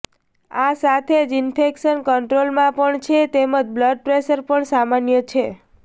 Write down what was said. આ સાથે જ ઇન્ફેક્શન કંટ્રોલમાં પણ છે તેમજ બ્લડ પ્રેશર પણ સામાન્ય છે